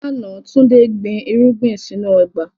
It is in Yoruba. Lánà, Túndé gbìn irugbin sínu ọgba.